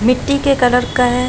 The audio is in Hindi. मिट्टी के कलर का है।